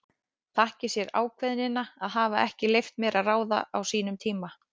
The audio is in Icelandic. Þakki sér ákveðnina að hafa ekki leyft mér að ráða á sínum tíma.